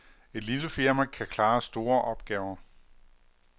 Et lille firma kan klare store opgaver.